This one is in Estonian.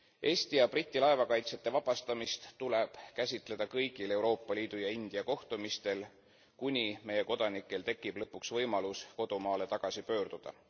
Eesti ja Briti laevakaitsjate vabastamist tuleb käsitleda kõigil Euroopa Liidu ja India kohtumistel, kuni meie kodanikel tekib lõpuks võimalus kodumaale tagasi pöörduda.